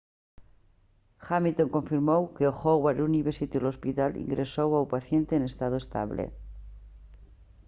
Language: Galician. hamilton confirmou que o howard university hospital ingresou ao paciente en estado estable